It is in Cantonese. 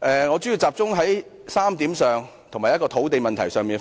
我主要集中討論3點，以及就土地問題發言。